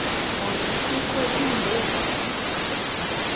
kanti kukho iimbovane